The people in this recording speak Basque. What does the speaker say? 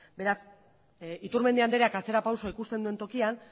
beraz iturmendi andereak atzera pausoa ikusten duen tokian